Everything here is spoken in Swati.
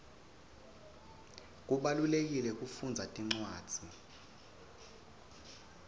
kubalulekile kufundza tincwadzi